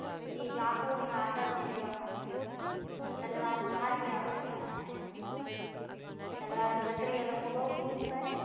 એ ચાકુ અને કાતર ને લેવા માટે કરી ને આવે છે તલવાર તો ખાસ લેવા માટે આવે છે એ મતલબ તલવાર ક્ષત્રિય લોકો બહુ use કરે ને